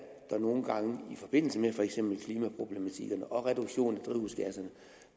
der nogle gange i forbindelse med for eksempel klimaproblematikkerne og reduktionen af drivhusgasser